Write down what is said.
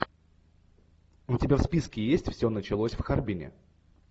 у тебя в списке есть все началось в харбине